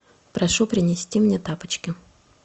прошу принести мне тапочки